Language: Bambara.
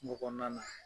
Kungo kɔnɔna na